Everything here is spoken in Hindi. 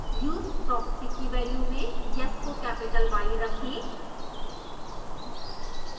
use proxy की वैल्यू में yes को कैपिटल y रखें